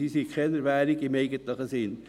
Sie sind keine Währung im eigentlichen Sinn.